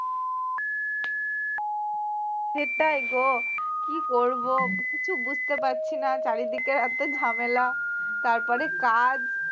সেটাই গো কী করব কিছু বুঝতে পারছি না চারিদিকে এত ঝামেলা তারপরে কাজ